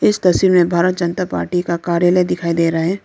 इस तस्वीर में भारत जनता पार्टी का कार्यालय दिखाई दे रहा है।